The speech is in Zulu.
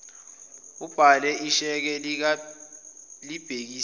ubhale isheke libhekiswe